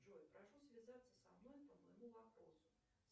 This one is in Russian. джой прошу связаться со мной по моему вопросу